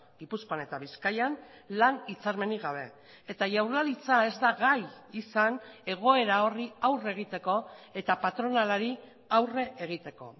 gipuzkoan eta bizkaian lan hitzarmenik gabe eta jaurlaritza ez da gai izan egoera horri aurre egiteko eta patronalari aurre egiteko